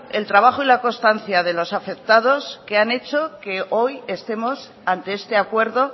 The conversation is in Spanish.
el trabajo y la constancia de los afectados que han hecho que hoy estemos ante este acuerdo